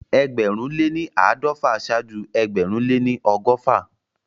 Ẹgbẹ̀rún lé ní àádọ́fà ṣáájú ẹgbẹ̀rún lé ní ọgọ́fà